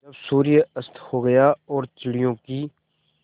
जब सूर्य अस्त हो गया और चिड़ियों की